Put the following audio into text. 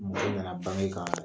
Mɔgɔ nana bange kan